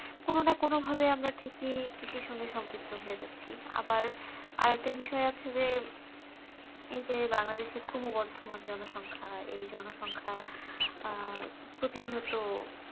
কোনো না কোনো ভাবে আমরা ঠিকই কৃষির সাথে সম্পৃক্ত হয়ে যাচ্ছি আবার আর একটা বিষয় আছে যে এইজন বাংলা দেশে খুবই বর্ধমান জনসংখ্যা এই জনসংখ্যা আহ প্রতিনিয়ত,